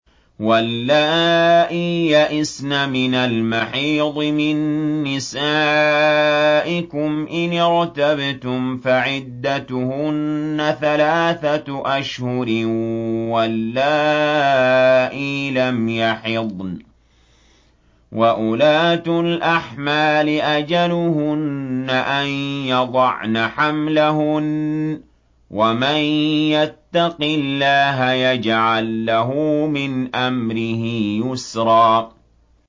وَاللَّائِي يَئِسْنَ مِنَ الْمَحِيضِ مِن نِّسَائِكُمْ إِنِ ارْتَبْتُمْ فَعِدَّتُهُنَّ ثَلَاثَةُ أَشْهُرٍ وَاللَّائِي لَمْ يَحِضْنَ ۚ وَأُولَاتُ الْأَحْمَالِ أَجَلُهُنَّ أَن يَضَعْنَ حَمْلَهُنَّ ۚ وَمَن يَتَّقِ اللَّهَ يَجْعَل لَّهُ مِنْ أَمْرِهِ يُسْرًا